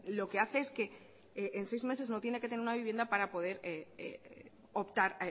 lo que hace es que en seis meses no tiene que tener una vivienda para poder optar